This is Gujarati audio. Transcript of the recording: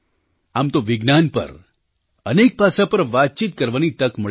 આમ તો વિજ્ઞાન પર અનેક પાસાં પર વાતચીત કરવાની તક મળી છે